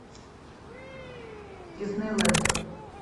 диснейленд